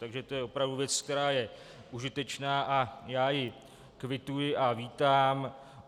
Takže to je opravdu věc, která je užitečná, a já ji kvituji a vítám.